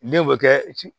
Denw bɛ kɛ